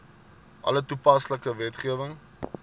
alle toepaslike wetgewing